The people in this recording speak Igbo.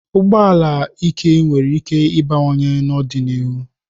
Ụgbọ ala ike nwere íké ịbawanye n'ọdịnihu.